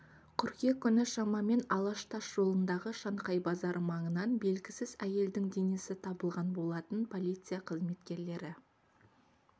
қыркүйек күні шамамен алаш тас жолындағы шанхай базары маңынан белгісіз әйелдің денесі табылған болатын полиция қызметкерлері